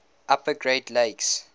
upper great lakes